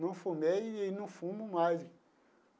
Não fumei e não fumo mais.